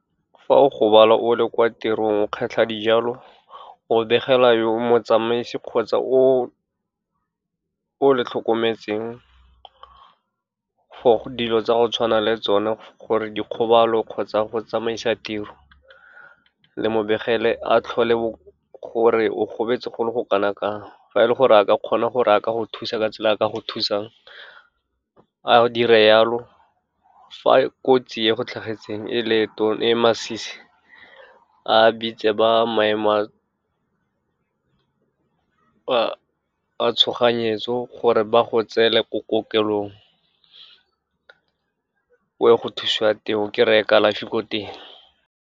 Fa o gobala o le kwa tirong, o kgetlha dijalo, o begela yo motsamaisi kgotsa o le tlhokometseng, for dilo tsa go tshwana le tsone, gore dikgobalo kgotsa go tsamaisa tiro, le mo begele, a tlhole gore o gobetse go le go kanangkang, fa e le gore a ka kgona gore a ka go thusa ka tsela a ka go thusang, a dire jalo. Fa kotsi e go tlhagetseng e le e masisi, a bitse ba maemo a tshoganyetso, gore ba go tseela ko kokelong, o ye go thusiwa teng, o kry-e kalafi ko teng.